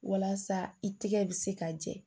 Walasa i tigɛ bɛ se ka jɛ